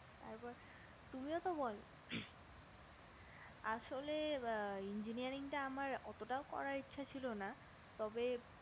তার পর তুমিও তো বোলো আসলে engineering টা আমার অতটাও করার ইচ্ছা ছিল না তবে